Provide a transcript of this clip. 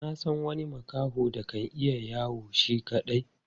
Na san wani makaho da kan iya yawo shi kaɗai.